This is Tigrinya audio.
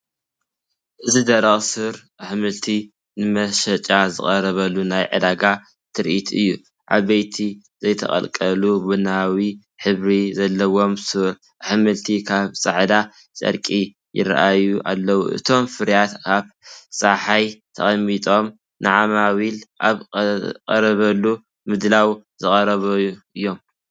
እዚ ደረቕ ሱር ኣሕምልቲ ንመሸጣ ዝቐርበሉ ናይ ዕዳጋ ትርኢት እዩ። ዓበይቲ፡ ዘይተቐልቀሉ ቡናዊ ሕብሪ ዘለዎም ሱር ኣሕምልቲ ኣብ ጻዕዳ ጨርቂ ይራኣዩ ኣለዉ። እቶም ፍርያት ኣብ ጸሓይ ተቐሚጦም ንዓማዊል ኣብ ዝቐርበሉ ምድላው ዝቀረቡ እዮም።